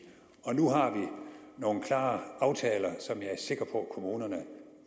og nu har vi nogle klare aftaler som jeg er sikker på at kommunerne